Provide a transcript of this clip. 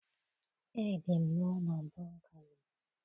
Ebi m n'ụlọ bungalo